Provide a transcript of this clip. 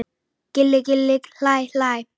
Gilli gilli hlæ hlæ.